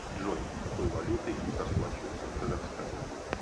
джой какой валютой расплачиваются в казахстане